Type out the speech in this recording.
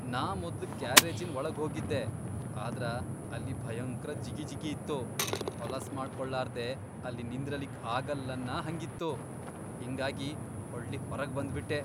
ನಾ ಮೊದ್ಲ್ ಗ್ಯಾರೇಜಿನ್ ವಳಗ್ಹೋಗಿದ್ದೆ ಆದ್ರ ಅಲ್ಲಿ ಭಯಂಕ್ರ ಜಿಗಿಜಿಗಿ ಇತ್ತು, ಹೊಲಸ್ಮಾಡ್ಕೊಳಾರ್ದೆ ಅಲ್ಲಿ ನಿಂದ್ರಲಿಕ್ ಆಗಲ್ಲನ್ನ ಹಂಗಿತ್ತು ಹಿಂಗಾಗಿ ಹೊಳ್ಳಿ ಹೊರಗ್ ಬಂದ್ಬಿಟ್ಟೆ.